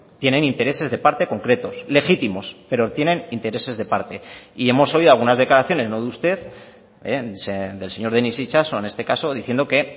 tienen intereses de parte concretos legítimos pero tienen intereses de parte y hemos oído algunas declaraciones no de usted del señor denis itxaso en este caso diciendo que